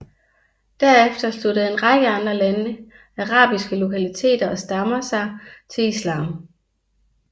Derefter sluttede en række andre arabiske lokaliteter og stammer sig til islam